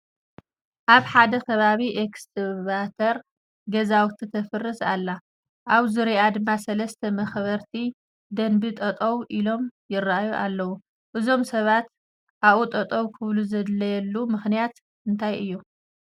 ኣብ ሓደ ከባቢ ኤክስካቬተር ገዛውቲ ተፍርስ ኣላ፡፡ ኣብ ዙርይኣ ድማ ሰለስተ መኽበርቲ ደንቢ ጠጠው ኢሎም ይርአዩ ኣለዉ፡፡ እዞም ሰባት ኣብኡ ጠጠው ክብሉ ዘድለየሉ ምኽንያት እንታይ እዩ?